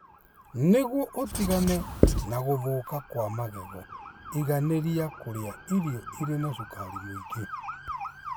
Nĩguo ũtigane na gũthũka kwa magego, igaanĩria kũrĩa irio irĩ na cukari mũingĩ.